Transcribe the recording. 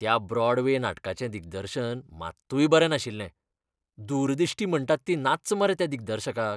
त्या ब्रॉडवे नाटकाचें दिग्दर्शन मात्तूय बरें नाशिल्लें. दूरदिश्टी म्हणटात ती नाच्च मरे त्या दिग्दर्शकाक.